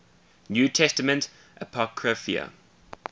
new testament apocrypha